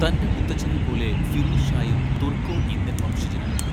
തന്റെ മുത്തച്ഛനെപ്പോലെ ഫിറൂസ് ഷായും തുർക്കോ ഇന്ത്യൻ വംശജനായിരുന്നു.